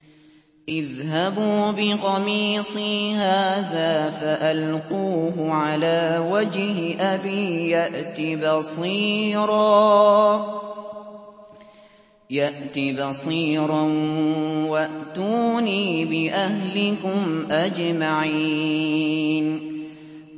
اذْهَبُوا بِقَمِيصِي هَٰذَا فَأَلْقُوهُ عَلَىٰ وَجْهِ أَبِي يَأْتِ بَصِيرًا وَأْتُونِي بِأَهْلِكُمْ أَجْمَعِينَ